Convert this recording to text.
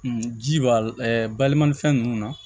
ji b'a la balima fɛn nunnu na